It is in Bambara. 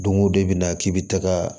Don o don i bɛna k'i bi taga